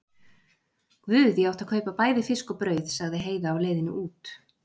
Guð, ég átti að kaupa bæði fisk og brauð, sagði Heiða á leiðinni út.